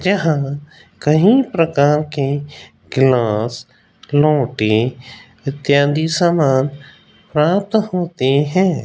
जहां कहीं प्रकार के क्लास नोटें इत्यादि सामान प्राप्त होते हैं।